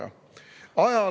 Kolm minutit lisaaega.